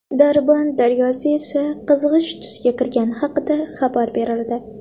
Darband daryosi esa qizg‘ish tusga kirgani haqida xabar berildi.